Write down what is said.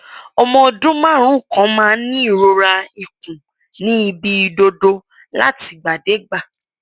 ọmọ ọdún márùnún kan máa ń ní ìrora ikùn ní ibi ìdodo látìgbàdégbà